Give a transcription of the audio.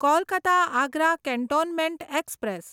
Kolkata Agra cantonment express